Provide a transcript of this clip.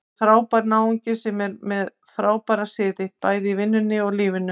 Þetta er frábær náungi sem er með frábæra siði, bæði í vinnunni og lífinu.